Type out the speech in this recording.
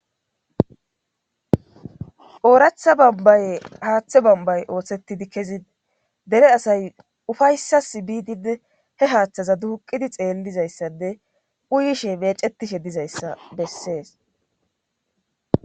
Ooratha bambaye haaththe bambay ooththettidi kezide dere asay ufayssas biidide he haaththaza duuqidi xeellizayssade uyishe meecetishe dizayssa bessees